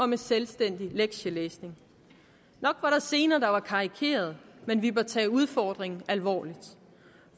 med selvstændig lektielæsning nok var der scener som var karikerede men vi bør tage udfordringen alvorligt